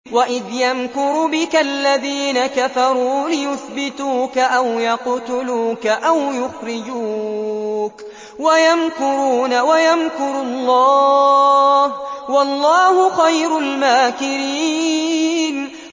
وَإِذْ يَمْكُرُ بِكَ الَّذِينَ كَفَرُوا لِيُثْبِتُوكَ أَوْ يَقْتُلُوكَ أَوْ يُخْرِجُوكَ ۚ وَيَمْكُرُونَ وَيَمْكُرُ اللَّهُ ۖ وَاللَّهُ خَيْرُ الْمَاكِرِينَ